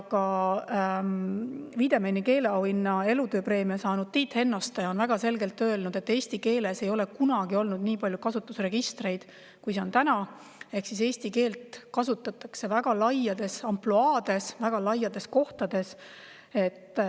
Ka Wiedemanni keeleauhinna, elutööpreemia saanud Tiit Hennoste on väga selgelt öelnud, et eesti keeles ei ole kunagi olnud nii palju kasutusregistreid, kui on täna, ehk siis eesti keelt kasutatakse väga laias ampluaas, väga paljudes kohtades.